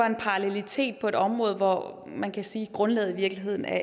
en parallelitet på et område hvor man kan sige at grundlaget i virkeligheden er